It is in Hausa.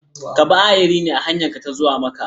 Ka bi ayari ne a hanyarka ta zuwa Makka?